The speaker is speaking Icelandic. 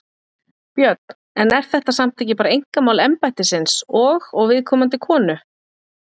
Björn: En er þetta samt ekki bara einkamál embættisins og, og viðkomandi konu?